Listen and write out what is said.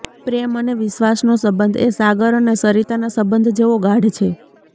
પ્રેમ અને વિશ્વાસનો સંબંધ એ સાગર અને સરિતાના સંબંધ જેવો ગાઢ છે